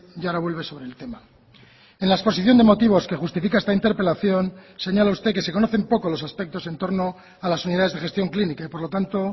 y ahora vuelve sobre el tema en la exposición de motivos que justifica esta interpelación señala usted que se conocen poco los aspectos entorno a las unidades de gestión clínica y por lo tanto